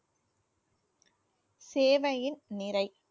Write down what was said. சேவையின் நிறை